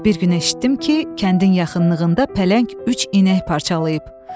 Bir gün eşitdim ki, kəndin yaxınlığında pələng üç inək parçalayıb.